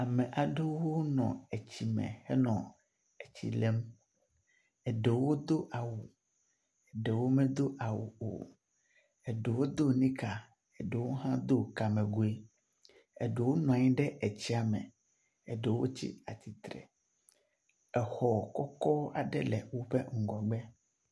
Ame aɖewo nɔ etsi me henɔ etsi lém. Eɖewo do awu, eɖewo medo awu o. Ɖewo do nika, ɖewo hã do kamegui. Eɖewo nɔ anyi ɖe tsia me. Ɖewo tsi atsitre. Exɔ kɔkɔ aɖe le woƒe ŋgɔgbe.